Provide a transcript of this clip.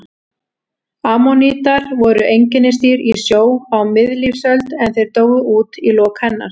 Ammonítar voru einkennisdýr í sjó á miðlífsöld en þeir dóu út í lok hennar.